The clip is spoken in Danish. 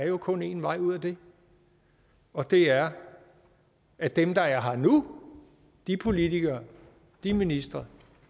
jo kun er en vej ud af det og det er at dem der er her nu de politikere de ministre